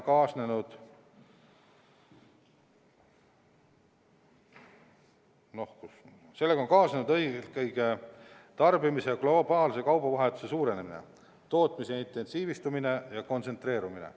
Sellega on kaasnenud eelkõige tarbimise ja globaalse kaubavahetuse suurenemine, tootmise intensiivistumine ja kontsentreerumine.